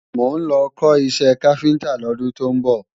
Mò ń lọ kọ́ iṣẹ́ káfíntá lọ́dún tó ń bọ̀